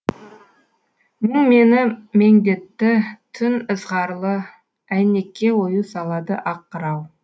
мұң мені меңдетті түн ызғарлы әйнекке ою салады ақ қырау